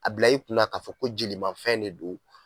A bila i kunna k'a fɔ ko jelimafɛn de don.